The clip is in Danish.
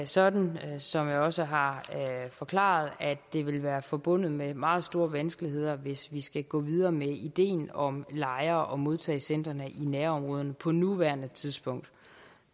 sådan som jeg også har forklaret at det vil være forbundet med meget store vanskeligheder hvis vi skal gå videre med ideen om lejre og modtagecentre i nærområderne på nuværende tidspunkt